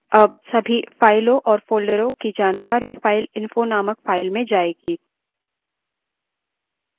अब सभी फाइलों और फोल्डरों की जानकारी fileinfo named files में जायेगी